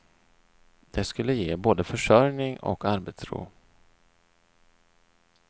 Det skulle ge både försörjning och arbetsro.